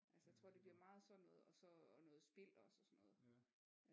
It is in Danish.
Altså jeg tror det bliver meget sådan noget og så og noget spil også og sådan noget